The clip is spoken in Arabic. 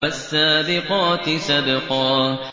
فَالسَّابِقَاتِ سَبْقًا